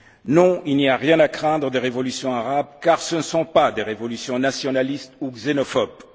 Non, il n'y a rien à craindre des révolutions arabes, car ce ne sont pas des révolutions nationalistes ou xénophobes.